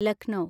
Lucknow